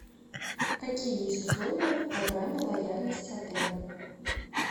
какие есть условия в программе лояльности отеля